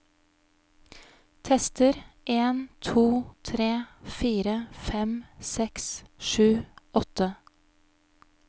Tester en to tre fire fem seks sju åtte